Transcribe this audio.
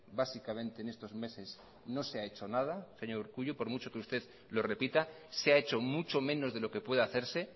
básicamente en estos meses no se ha hecho nada señor urkullu por mucho que usted lo repita se ha hecho mucho menos de lo que puede hacerse